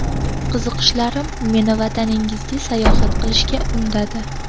Qiziqishlarim meni vataningizga sayohat qilishga undadi.